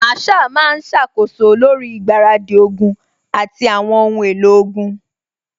Masaa máa ṣàkóso lórí ìgbáradì ogun àti àwọn ohun èlò ogun